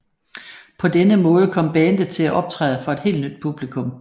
På denne måde kom bandet til at optræde for et helt nyt publikum